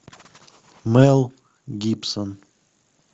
мэл гибсон